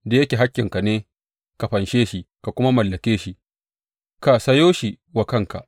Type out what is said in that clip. Da yake hakkinka ne ka fanshe shi ka kuma mallake shi, ka sayo shi wa kanka.’